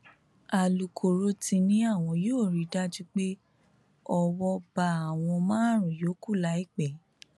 alūkkóró ti ní àwọn yóò rí i dájú pé owó bá àwọn márùnún yòókù láìpẹ